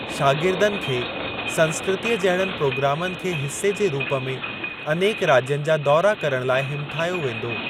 शागिर्दनि खे संस्कृतीअ जहिड़नि प्रोग्रामनि खे हिसे जे रूप में अनेक राज्यनि जा दौरा करण लाइ हिमथायो वेंदो।